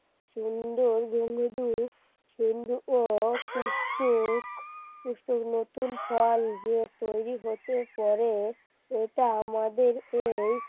সুন্দর গণদী পুষ্পক পুষ্পক নতুন ফল যে তৈরি হতে পারে সেটা আমাদেরকেই